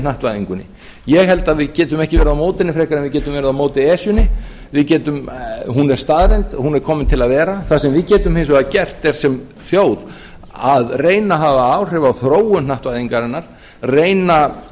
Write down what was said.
hnattvæðingunni ég held að við getum ekki verið á móti henni frekar heldur en við getum verið á móti esjunni hún er staðreynd hún er komin til að vera en það sem við getum hins vegar gert sem þjóð er að reyna að hafa áhrif á þróun hnattvæðingarinnar reyna